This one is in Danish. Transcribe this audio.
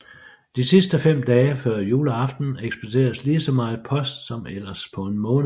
De sidste 5 dage før juleaften ekspederes lige så meget post som ellers på en måned